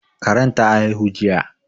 Karen ta haihu jiya